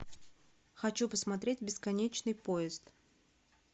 хочу посмотреть бесконечный поезд